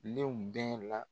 Lenw bɛɛ la